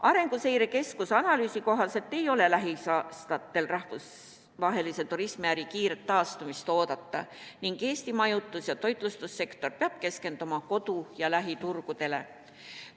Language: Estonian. Arenguseire Keskuse analüüsi kohaselt ei ole lähiaastatel rahvusvahelise turismiäri kiiret taastumist oodata ning Eesti majutus- ja toitlustussektor peab keskenduma kodu- ja lähiturgudele.